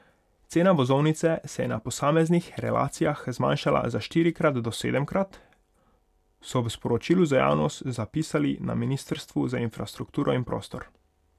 Cena vozovnice se je na posameznih relacijah zmanjšala za štirikrat do sedemkrat, so v sporočilu za javnost zapisali na ministrstvu za infrastrukturo in prostor.